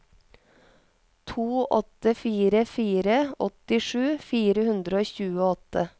to åtte fire fire åttisju fire hundre og tjueåtte